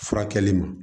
Furakɛli ma